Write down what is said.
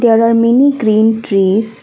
There are many green trees.